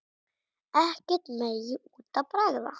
Ekkert megi út af bregða.